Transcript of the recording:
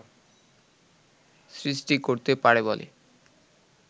সৃষ্টি করতে পারে বলে